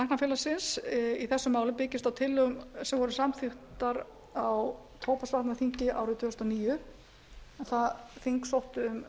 aðgerðaráætlun læknafélagsins í þessu máli byggist á tillögum sem voru samþykktar á tóbaksvarnaþing árið tvö þúsund og níu en það þing sóttu